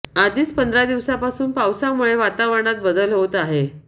आधीच पंधरा दिवसापासून पावसामुळे वातावरणात बदल होत आहे